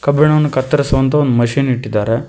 ಕಬ್ಬಿಣವನ್ನು ಕತ್ತರಿಸುವಂತಹ ಒಂದು ಮಷೀನ್ ಇಟ್ಟಿದ್ದಾರೆ.